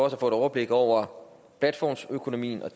at få et overblik over platformsøkonomien og